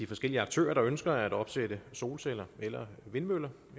forskellige aktører der ønsker at opsætte solceller eller vindmøller